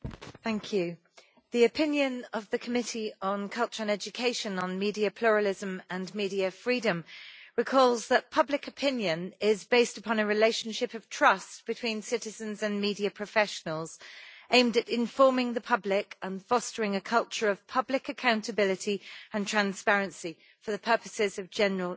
Mr President, the opinion of the Committee on Culture and Education on media pluralism and media freedom recalls that public opinion is based upon a relationship of trust between citizens and media professionals, aimed at informing the public and fostering a culture of public accountability and transparency, for the purposes of general interest.